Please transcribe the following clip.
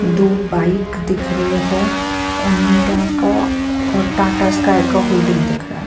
दो बाईक दिख रहे है ओनिडा का और टाटा स्काई का होर्डिंग दिख रहा है।